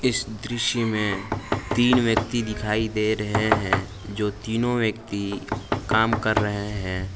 इस दृश्य में तीन व्यक्ति दिखाई दे रहे हैं जो तीनों व्यक्ति काम कर रहे हैं।